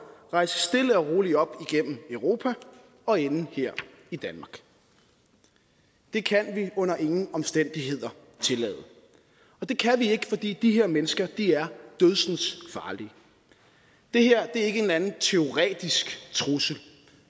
rejse stille og roligt op igennem europa og ende her i danmark det kan vi under ingen omstændigheder tillade og det kan vi ikke fordi de her mennesker er dødsensfarlige det her er ikke en eller anden teoretisk trussel